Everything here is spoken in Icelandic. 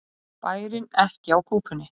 Bærinn ekki á kúpunni